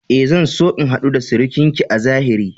E, zan so in hadu da surukinki a zahiri.